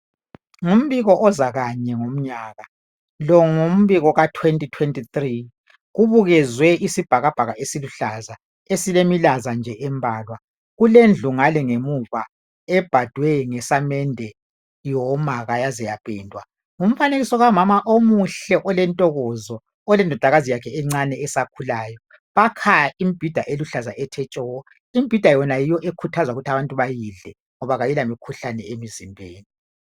ngumbiko oza kanye ngomnyaka lo ngimbio ka 2023 kubukezwe isibhakabhaka esiluhlaza esilemilaza nje embalwa kulendlu ngale ngemuva ebhdwe nge samende yoma yaze yapendwa ngumfanekiso kamama omuhle olentokozo olendodakazi yakhe encane esakhulayo bakha imibhida eluhlaza ethe tshoko imbhida yona yiyo ekhuthaza ukuthi abantu bayidle ngoba ayila mikhuhlane emizimbeni